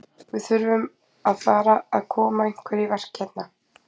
Við þurfum að fara að koma einhverju í verk hérna.